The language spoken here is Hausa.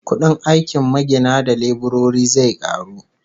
Kudin aikin magina da leburori zai karu